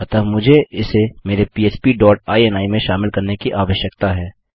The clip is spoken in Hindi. अतः मुझे इसे मेरे पह्प डॉट इनी में शामिल करने की आवश्यकता है